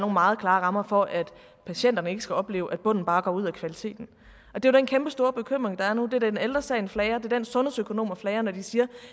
meget klare rammer for at patienterne ikke skal opleve at bunden bare går ud af kvaliteten det er den kæmpe store bekymring der er nu og det er den ældre sagen flager det er den sundhedsøkonomer flager når de siger